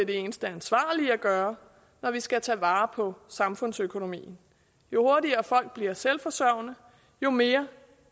det eneste ansvarlige at gøre når vi skal tage vare på samfundsøkonomien jo hurtigere folk bliver selvforsørgende jo mere